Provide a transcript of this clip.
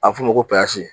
A bɛ f'o ma ko